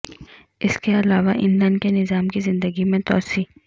اس کے علاوہ ایندھن کے نظام کی زندگی میں توسیع